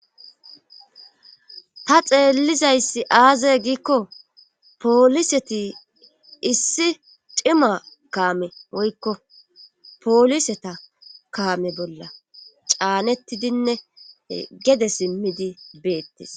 ta xeellizayssi aaze giikko pooliseti issi cima kaame woykko pooliseta kaame bolla caanettidinne gede simmidi beettes